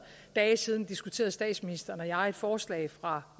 dage siden diskuterede statsministeren og jeg et forslag fra